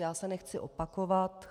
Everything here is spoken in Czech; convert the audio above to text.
Já se nechci opakovat.